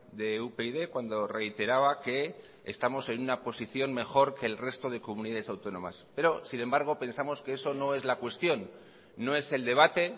de upyd cuando reiteraba que estamos en una posición mejor que el resto de comunidades autónomas pero sin embargo pensamos que eso no es la cuestión no es el debate